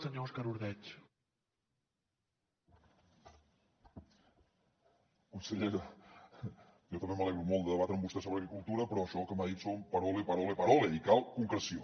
consellera jo també m’alegro molt de debatre amb vostè sobre agricultura però això que m’ha dit són parole parole parole i cal concreció